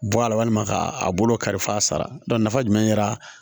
Bɔ a la walima ka a bolo karifa a sara nafa jumɛn kɛra